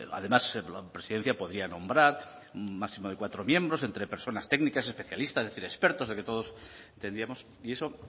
además la presidencia podría nombrar un máximo de cuatro miembros entre personas técnicas especialistas expertos de que todos tendríamos y eso